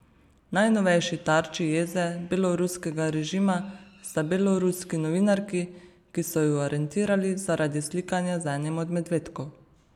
Najnovejši tarči jeze beloruskega režima sta beloruski novinarki, ki so ju aretirali zaradi slikanja z enim od medvedkov.